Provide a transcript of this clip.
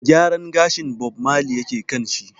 Gyaran gashin Bob Marley yake kan shi.